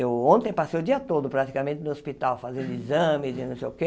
Eu ontem passei o dia todo praticamente no hospital, fazendo exames e não sei o quê.